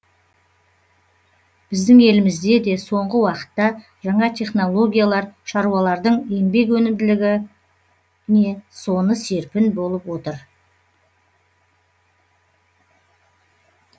біздің елімізде де соңғы уақытта жаңа технологиялар шаруалардың еңбек өнімділігіне не соны серпін беріп отыр